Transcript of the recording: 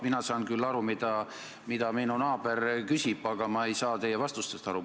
Mina saan küll aru, mida minu naaber küsib, aga ma ei saa teie vastustest aru.